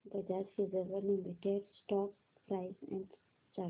Bajaj Finserv limited stock price and chart